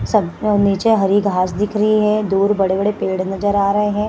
सब नीचे हरी घास दिख रही है । दूर बड़े बड़े पेड़ नजर आ रहे हैं ।